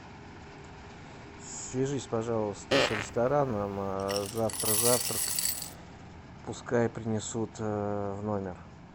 свяжись пожалуйста с рестораном завтра завтрак пускай принесут в номер